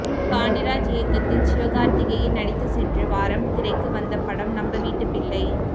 பாண்டிராஜ் இயக்கத்தில் சிவகார்த்திகேயன் நடித்து சென்ற வாரம் திரைக்கு வந்த படம் நம்ம வீட்டு பிள்ளை